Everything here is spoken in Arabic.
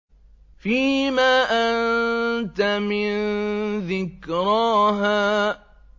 فِيمَ أَنتَ مِن ذِكْرَاهَا